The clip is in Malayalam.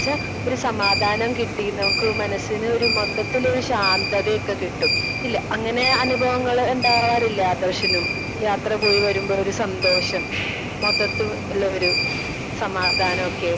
സ്പീക്കർ 2 എന്ന് വെച്ചാ ഒരു സമാധാനം കിട്ടീ. നമുക്ക് മനസ്സിനൊരു മൊത്തത്തില് ഒരു ശാന്തത ഒക്കെ കിട്ടും. ഇല്ല അങ്ങനെ ഒരു അനുഭവങ്ങള് ഉണ്ടാവാറില്ലേ ആദർശിനും? യാത്ര പോയി വരുമ്പോ ഒരു സന്തോഷം. മൊത്തത്തിൽ ഉള്ള ഒരു സമാധാനോക്കെ.